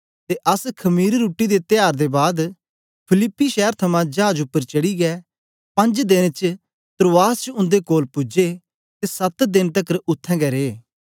ते अस खमीर रुट्टी दे त्यार दे बाद फिलिप्पी शैर थमां चाज उपर चढ़ीयै पंज देन च त्रोआस च उन्दे कोल पूजे ते सत देन तकर उत्थें गै रे